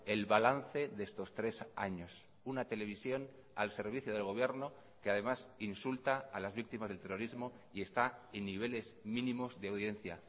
el balance de estos tres años una televisión al servicio del gobierno que además insulta a las víctimas del terrorismo y está en niveles mínimos de audiencia